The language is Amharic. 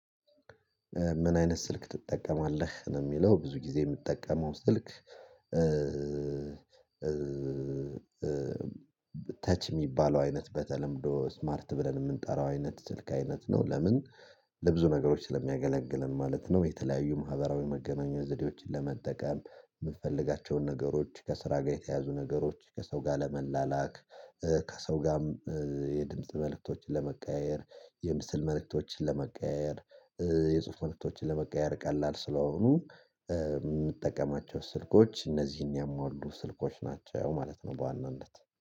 ምን አይነት ስልክ ትጠቀማለህ ነው የሚለው፤ ብዙ ጊዜ የምጠቀመው ስልክ ተች የሚባለው አይነት በተለምዶ ስማርት ብለን የምንጠራው አይነት ስልክ አይነት ነው፤ ለምን ለብዙ ነገሮች ስለሚያገለግልም ማለት ነው፤ የተለያዩ ማህበራዊ መገናኛ ዘዴዎችን ለመጠቀም፣ የምትፈልጋቸውን ነገሮች ከስራ ጋር የተያዙ ነገሮች ከሰው ጋር ለመላላክ፣ ከሰው ጋርም የድምጽ መልእክቶችን ለመቀያየር፣ የምስል መልእክቶችን ለመቀያየር፣ የጽሁፍ ምርቶችን ለመቀየር፣ ቀላል ስለሆኑ የምጠቀማቸው ስልኮች እነዚህን የሚያሟሉ ስልኮች ናቸው ማለት ነው በዋናነት።